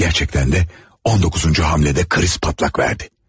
Həqiqətən də 19-cu hərəkətdə kriz patlak verdi.